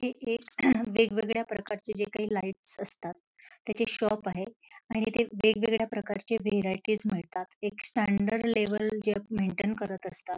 इथे एक वेगवेगळ्या प्रकारच्या जे काही लाईटस् असतात त्याचे शॉप आहे इथे वेगवेगळ्या प्रकारचे व्हेरायटीझ मिळतात एक स्टॅंडर्ड लेवल जे अ मेंटेन करत असतात.